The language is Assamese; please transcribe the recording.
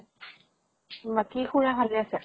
বাকী খুৰা ভালে আছে ?